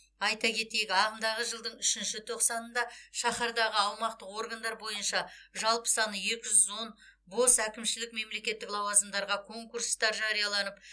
айта кетейік ағымдағы жылдың үшінші тоқсанында шаһардағы аумақтық органдар бойынша жалпы саны екі жүз он бос әкімшілік мемлекеттік лауазымдарға конкурстар жарияланып